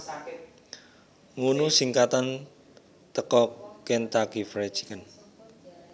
ngunu singkatan teko Kentucky Fried Chicken